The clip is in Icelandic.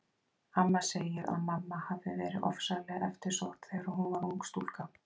Amma segir að mamma hafi verið ofsalega eftirsótt þegar hún var ung stúlka.